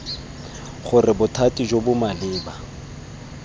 gore bothati jo bo maleba